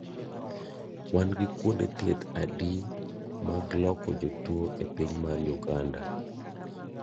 Wan gi kuonde thieth adi mag loko jotuo e piny mar Uganda?